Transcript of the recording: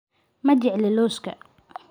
Ma jecli loska.